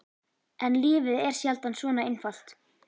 En lífið er sjaldan svona einfalt.